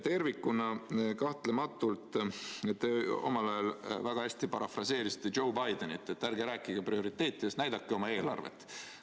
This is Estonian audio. Kahtlematult te omal ajal väga hästi parafraseerisite Joe Bidenit, et ärge rääkige prioriteetidest, näidake oma eelarvet.